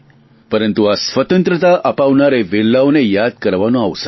પરંતુ આ સ્વતંત્રતા અપાવનાર એ વીરોને યાદ કરવાનો આ અવસર છે